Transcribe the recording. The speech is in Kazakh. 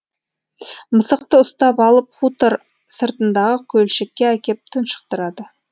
мысықты ұстап алып хутор сыртындағы көлшікке әкеп тұншықтырады